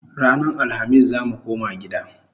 Ranan Alhamis zamu koma gida